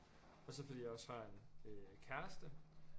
Og så fordi jeg også har en kæreste